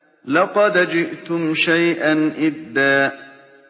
لَّقَدْ جِئْتُمْ شَيْئًا إِدًّا